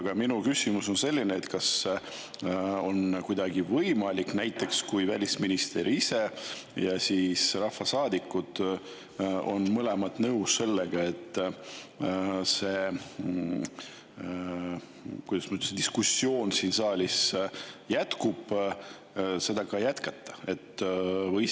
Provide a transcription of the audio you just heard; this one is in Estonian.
Aga minu küsimus on selline: kas on kuidagi võimalik – kui välisminister ise ja rahvasaadikud on kõik nõus – siis, kui see diskussioon siin saalis jätkub, seda jätkata?